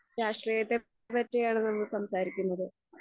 രാഷ്ട്രീയത്തെ പറ്റിയാണ് നമ്മൾ സംസാരിക്കുന്നത്.